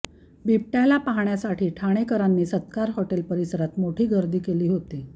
बिबट्याला पाहण्यासाठी ठाणेकरांनी सत्कार हॉटेल परिसरात मोठी गर्दी केली होती